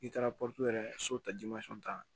I taara pɔtɔrɔ yɛrɛ so ta ta